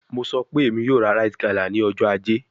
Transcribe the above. Mo sọ pe Emi yoo ra rite gala ni ọjọ aje